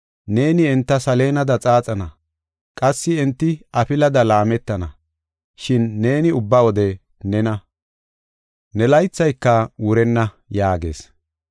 Neeni enta saleenada xaaxana; qassi enti afilada laametana. Shin neeni ubba wode nena; ne laythayka wurenna” yaagees.